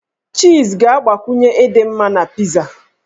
Chiiz ga-agbakwunye ịdị mma na pizaa.